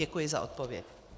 Děkuji za odpověď.